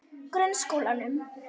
Grunnskólanum